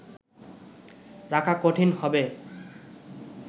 রাখা কঠিন হবে